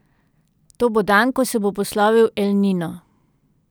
To bo dan, ko se bo poslovil El Nino.